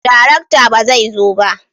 darakta ba zai zo ba?